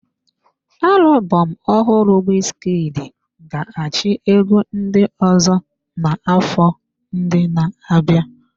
Alubom ohụrụ Wizkid ga-achị egwu ndị ọzọ n'afọ ndị na-abịa.